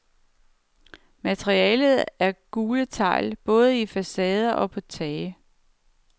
Materialet er gule tegl både i facader og på tage.